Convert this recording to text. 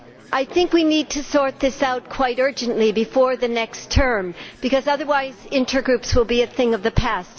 I think we need to sort this out quite urgently before the next term because, otherwise, intergroups will be a thing of the past